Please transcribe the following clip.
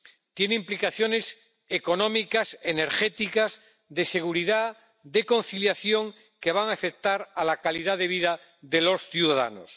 Tiene implicaciones económicas, energéticas, de seguridad, de conciliación, que van a afectar a la calidad de vida de los ciudadanos.